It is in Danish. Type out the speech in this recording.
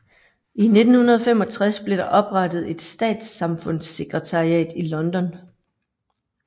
I 1965 blev der oprettet et Statssamfundssekretariat i London